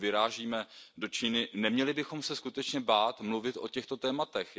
Pokud vyrážíme do Číny, neměli bychom se skutečně bát mluvit o těchto tématech.